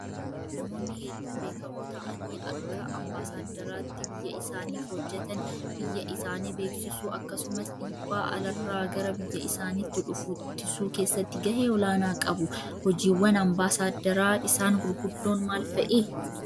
Namoonni hedduu beektammoo ta'anii Akka ambaasaaddaraatti biyya isaaniif hojjatan biyya isaanii beeksisuu akkasumas dhiibbaa alarraa gara biyya isaaniitti dhufu ittisuu keessatti gahee olaanaa qabu. Hojiiwwan ambaasaaddaraa isan gurguddoon maal fa'ii?